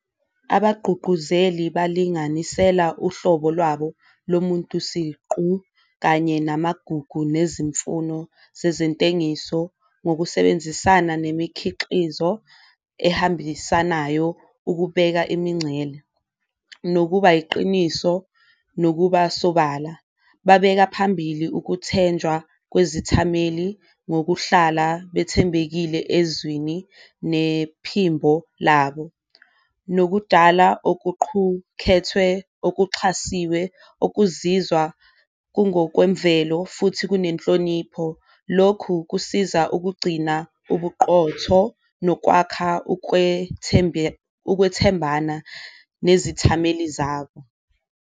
Abagqugquzeli balinganisela uhlobo lwabo lo muntu siqu kanye namagugu nezimfuno zezintengiso ngokusebenzisana nemikhiqizo ehambisanayo ukubeka imincele, nokuba iqiniso, nokuba sobala. Babeka phambili ukuthenjwa kwezithameli ngokuhlala bethembekile ezwini nephimbo labo, nokudala okuqhukhethwe okuxhasiwe okuzizwa kungokwemvelo futhi kunenhlonipho. Lokhu kusiza ukugcina ubuqotho nokwakha ukwethembana nezithameli zabo.